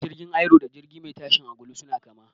Jirgin Aero da jirgi mai tashin angulu suna kama.